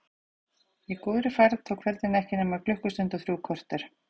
Í góðri færð tók ferðin ekki nema klukkustund og þrjú korter.